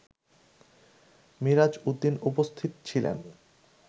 মিরাজ উদ্দিন উপস্থিত ছিলেন